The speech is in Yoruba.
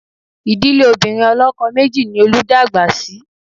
Ìdílé obìnrin ọlọ́kọ méjì ni Olú dàgbà sí